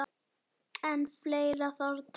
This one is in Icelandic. En fleira þarf til.